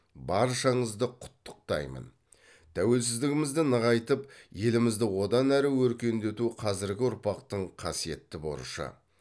баршаңызды құттықтаймын тәуелсіздігімізді нығайтып елімізді одан ары өркендету қазіргі ұрпақтың қасиетті борышы